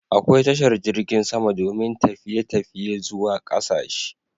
Akwai tashar jirgin sama domin tafiye tafiye zuwa ƙasashe